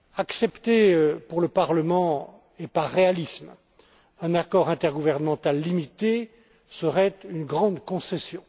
Accepter, pour le Parlement et par réalisme, un accord intergouvernemental limité serait une grande concession.